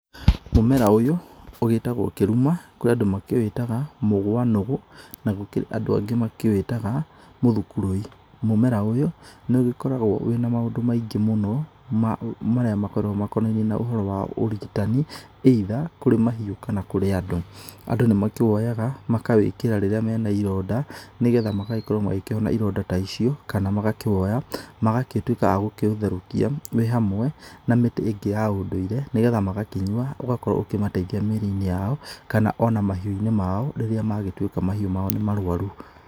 Mũmera ũyũ ũgĩtagwo kĩruma, kũrĩ andũ makĩwĩtaga mũgwa nũgũ, na gũkĩrĩ andũ angĩ makĩwĩtaga mũthukurũi. Mũmera ũyũ nĩ ũgĩkoragwo wĩ na maũndũ maingĩ mũno marĩa makoragwo makonainie na ũhoro wa ũrigitani either kũrĩ mahiũ kana kũrĩ andũ. Andũ nĩ makĩwoyaga, makawĩkĩra rĩrĩa menaironda, nĩgetha magagĩkorwo makĩhona ironda ta icio kana magakĩwoya magagĩtuĩka a gũkĩũtherũkia wĩ hamwe na mĩtĩ ĩngĩ ya ũndũire nĩgetha magakĩnyua ũgakorwo ukĩmateithia mĩĩrĩinĩ yao, kana ona mahiũinĩ mao rĩrĩa magĩtuĩka mahiũ maĩ nĩ marũaru.